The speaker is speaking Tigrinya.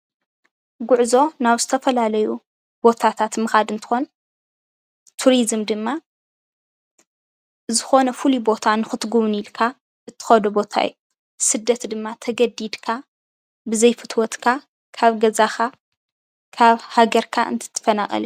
ጉዕዞ ናብ ዝተፈላለዩ ቦታታት ምኻድ እንትኾን ቱሪዝም ድማ ዝኾነ ፍሉይ ቦታ ንኽትጉብንይ ኢልካ እትኸዶ ቦታ እዩ፡፡ ስደት ድማ ተገዲድካ ብዘይፍትወትካ ካብ ገዛኻ ካብ ሃገርካ እንትትፈናቐል እዩ፡፡